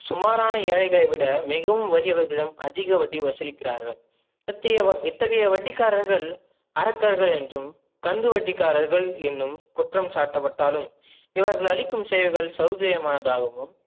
சுமாரான ஏழைகளை விட மிகவும் வலியவர்களும் அதிக வட்டி வசுலிக்கிரார்கள் இத்தகைய வட்டிக்காரர்கள் அரக்கர்கள் என்றும் கந்துவட்டிகாரர்கள் என்னும் குற்றம் சாட்டப்பட்டாலும் இவர்கள் அளிக்கும் செயல்கள் சவுகரியம்மானதாகவும்